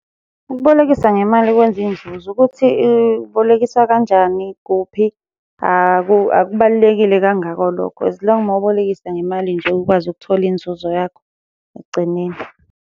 Ukubolekisa ngemali kwenza inzuzo, ukuthi ibolekise kanjani, kuphi akubalulekile kangako lokho as long mawubolekisa ngemali nje ukwazi ukuthola inzuzo yakho ekugcineni.